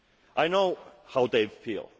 the future. I know how